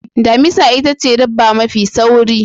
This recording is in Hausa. Damisa itace dabba mafi sauri.